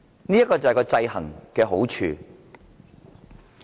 這便是制衡的好處。